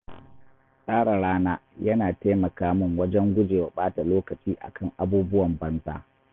Tsara rana yana taimaka min wajen gujewa bata lokaci akan abubuwan banza.